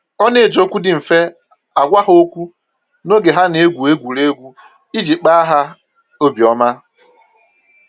Ọ na-eji okwu dị mfe agwa ha okwu n'oge ha na-egwu egwuregwu iji kpa ha obi ọma